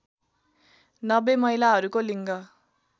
९० महिलाहरूको लिङ्ग